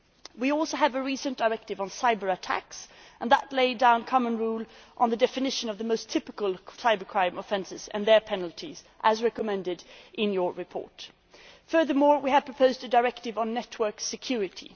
We also have the recent Cyber Attacks Directive, which lays down common rules on the definition of the most typical cybercrime offences and their penalties, as recommended in your report. Furthermore, we have proposed a directive on network security.